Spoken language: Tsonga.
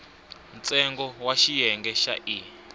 ntsengo wa xiyenge xa e